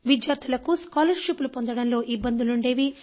విద్యార్థులకు ఉపకార వేతనాలు పొందడంలో ఇబ్బందులు ఉండేవి